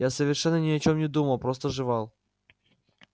я совершенно ни о чем не думал просто жевал